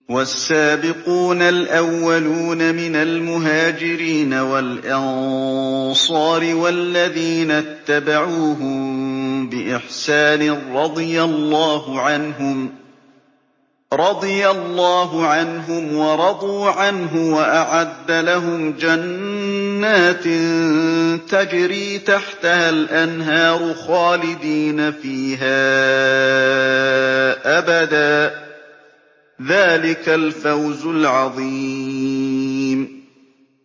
وَالسَّابِقُونَ الْأَوَّلُونَ مِنَ الْمُهَاجِرِينَ وَالْأَنصَارِ وَالَّذِينَ اتَّبَعُوهُم بِإِحْسَانٍ رَّضِيَ اللَّهُ عَنْهُمْ وَرَضُوا عَنْهُ وَأَعَدَّ لَهُمْ جَنَّاتٍ تَجْرِي تَحْتَهَا الْأَنْهَارُ خَالِدِينَ فِيهَا أَبَدًا ۚ ذَٰلِكَ الْفَوْزُ الْعَظِيمُ